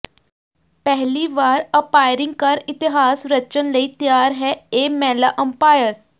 ਪਹਿਲੀ ਵਾਰ ਅੰਪਾਇਰਿੰਗ ਕਰ ਇਤਿਹਾਸ ਰਚਣ ਲਈ ਤਿਆਰ ਹੈ ਇਹ ਮਹਿਲਾ ਅੰਪਾਇਰ